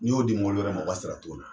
N y'o di mobili wɛrɛ mɔ o ka sira t'o la.